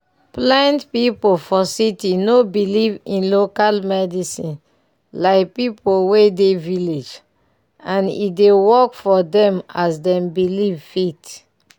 plent pipu for city no belive in local medicine like pipu wey de village and e dey work for dem as dem belivefit.